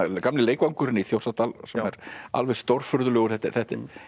gamli leikvangurinn í Þjórsárdal sem er alveg stórfurðulegur